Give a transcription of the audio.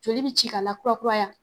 Joli be ci ka lakurakura ya